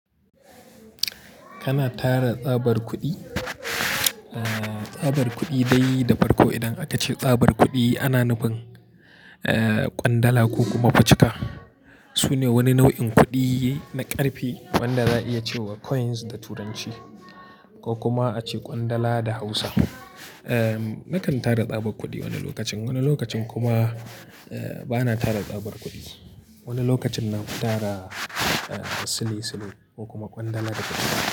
Kana tara tsabar kuɗi? Tsabar kuɗi dai da farko idan aka ce tsabar kuɗi, ana nufin ƙwandala ko kuma facika. Su ne wani nau'in kuɗi na ƙarfe, wanda za'a iya ce wa coins da turanci, ko kuma a ce ƙwandala da Hausa. Nakan tara tsabar kuɗi wani lokacin, wani lokacin kuma, ba na tara tsabar kuɗi. Wani lokacin na fi tara, sile sile ko kuma ƙwandala da turanci.